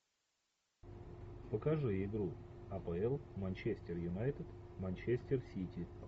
покажи игру апл манчестер юнайтед манчестер сити